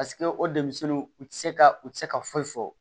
Paseke o denmisɛnninw u tɛ se ka u tɛ se ka foyi fɔ